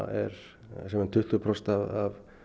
er um tuttugu prósent af